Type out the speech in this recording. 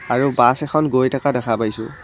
আৰু বাছ এখন গৈ থকা দেখা পাইছোঁ।